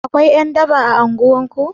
Akwai ƴan daba a unguwar ku?